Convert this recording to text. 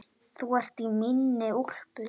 Þú ert í minni úlpu.